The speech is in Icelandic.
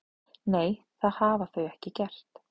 Nei, það hafa þau ekki gert